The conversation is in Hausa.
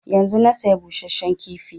Yanzun na saya busasshen kifi